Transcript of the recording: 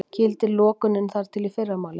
Gildir lokunin þar til í fyrramálið